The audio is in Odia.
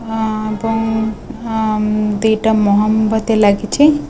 ଏବଂ ଆମ୍ ଦିଟା ମହମବତୀ ଲାଗିଛି।